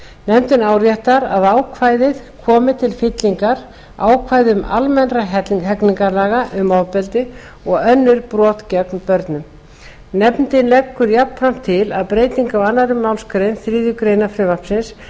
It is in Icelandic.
nefndin áréttar að ákvæðið komi til fyllingar ákvæðum almennra hegningarlaga um ofbeldi og önnur brot gegn börnum nefndin leggur jafnframt til að breyting á annarri málsgrein þriðju greinar frumvarpsins